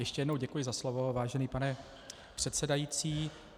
Ještě jednou děkuji za slovo, vážený pane předsedající.